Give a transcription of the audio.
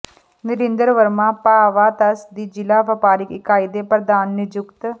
ਨਰਿੰਦਰ ਵਰਮਾ ਭਾਵਾਧਸ ਦੀ ਜ਼ਿਲ੍ਹਾ ਵਪਾਰਕ ਇਕਾਈ ਦੇ ਪ੍ਰਧਾਨ ਨਿਯੁਕਤ